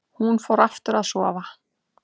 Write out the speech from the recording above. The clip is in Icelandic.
Hún fór aftur að sofa.